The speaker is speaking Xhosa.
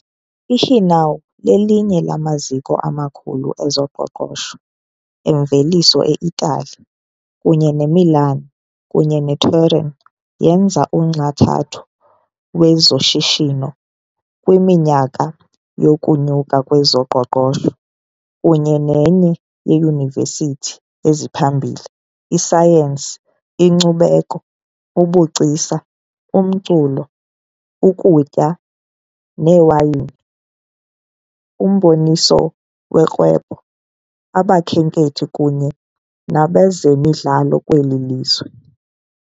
IGenoa lelinye lamaziko amakhulu ezoqoqosho - emveliso eItali, kunye neMilan kunye neTurin yenza unxantathu wezoshishino kwiminyaka yokunyuka kwezoqoqosho , kunye nenye yeyunivesithi eziphambili, isayensi, inkcubeko, ubugcisa, umculo, ukutya newayini, umboniso worhwebo, abakhenkethi kunye nabezemidlalo kweli lizwe.